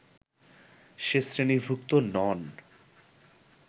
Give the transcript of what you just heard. সে শ্রেণীভুক্ত নন